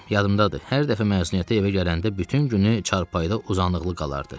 Yadımdadır, hər dəfə məzuniyyətə evə gələndə bütün günü çarpayıda uzanıqlı qalardı.